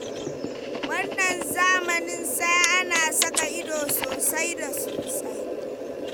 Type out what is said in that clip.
Wannan zamanin sai ana saka ido sosai da sosai.